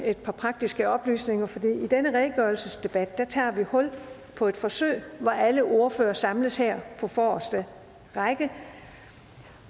et par praktiske oplysninger for i denne redegørelsesdebat tager vi hul på et forsøg hvor alle ordførere samles her på forreste række